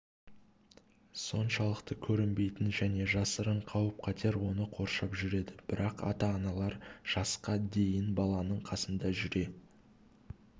соншалықты көрінбейтін және жасырын қауіп-қатер оны қоршап жүреді бірақ ата-аналар жасқа дейін баласының қасында жүре